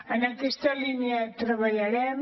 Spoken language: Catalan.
en aquesta línia treballarem